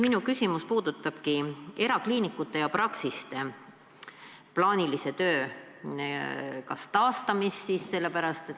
Minu küsimus puudutabki erakliinikute ja -praksiste plaanilise töö taastamist.